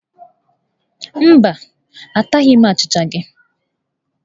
Mba, ataghi m achịcha gị.